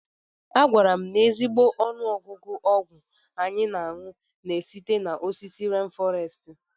A gwara m na ezigbo ọnụọgụgụ ọgwụ anyị na-aṅu na-esite n'osisi rén fọrestị.